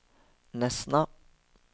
Nesna